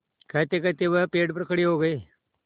कहतेकहते वह पेड़ पर खड़े हो गए